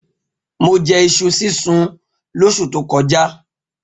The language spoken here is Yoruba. Mo je̩ is̩u sísun lós̩ù tó ko̩já